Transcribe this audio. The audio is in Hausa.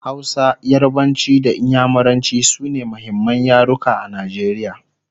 Hausa, yarbanci da inyamuranci sune muhimman yaruka a Najeriya